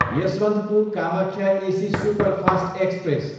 Yesvantpur, Kamakhya AC superfast express